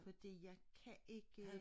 Fordi jeg kan ikke